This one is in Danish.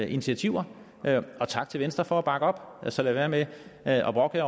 initiativer og tak til venstre for at bakke op så lad være med at